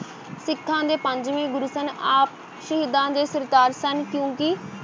ਸਿੱਖਾਂ ਦੇ ਪੰਜਵੇਂ ਗੁਰੂ ਸਨ, ਆਪ ਸ਼ਹੀਦਾਂ ਦੇ ਸਿਰਤਾਜ ਸਨ ਕਿਉਂਕਿ